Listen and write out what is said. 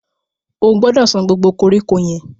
O gbọdọ̀ san gbogbo koríko yẹn.